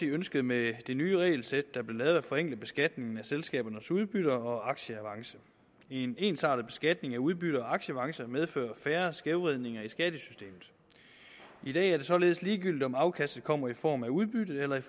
ønskede med det nye regelsæt der blev lavet at forenkle beskatningen af selskabernes udbytte og aktieavance en ensartet beskatning af udbytte og aktieavance medfører færre skævvridninger i skattesystemet i dag er det således ligegyldigt om afkastet kommer i form af udbytte eller i